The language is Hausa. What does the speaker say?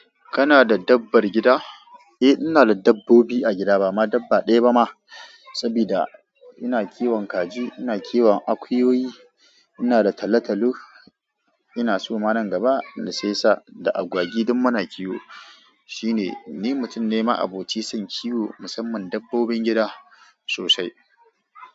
Kana da dabbar gida? Eh, ina da dabbobi a gida, ba ma dabba ɗaya ba ma. Saboda ina kiwon kaji, ina kiwon akuyoyi, ina da talo-talo, ina soma nan gaba da sai sa da agwagi duk muna kiwo. Shi ne, ni mutum ne ma'aboci son kiwo musamman dabbobin gida sosai.